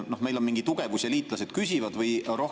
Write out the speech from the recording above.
Kas meil on mingi tugevus ja liitlased küsivad seda?